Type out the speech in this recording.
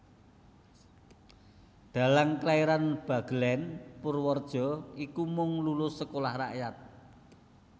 Dhalang kelairan Bagelèn Purwareja iki mung lulus Sekolah Rakyat